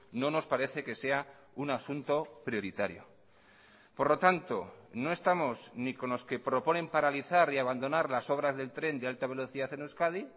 no nos parece que sea un asunto prioritario por lo tanto no estamos ni con los que proponen paralizar y abandonar las obras del tren de alta velocidad en euskadi